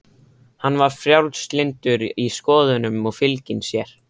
Hann var frjálslyndur í skoðunum og fylginn sér.